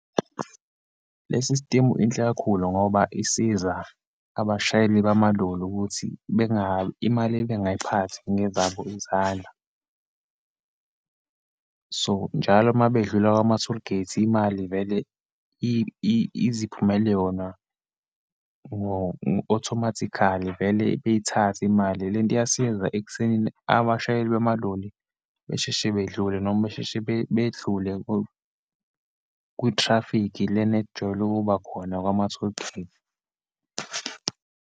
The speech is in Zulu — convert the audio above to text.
Le sistimu inhle kakhulu, ngoba isiza abashayeli bamaloli ukuthi imali bengayiphathi ngezabo izandla. So, njalo uma bedlula kwama-tollgate imali vele iziphumele yona ngo-automatically, vele beyithathe imali. Lento iyasiza ekuthenini abashayeli bamaloli besheshe bedlule, noma besheshe bedlule kwithrafikhi lena ejwayele ukuba khona kwama-tollgate.